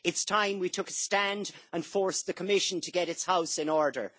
It is time we took a stand and forced the Commission to get its house in order.